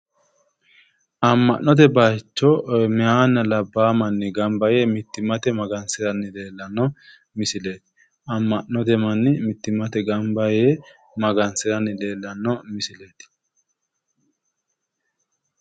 Amm'note bayiicho meehanna labbaaha manni gamba yee mittimmate gamba yee magansiranno leellanno misileeti. ammo'note manni mittimmate gamba yee magansiranni leellanno misileeti.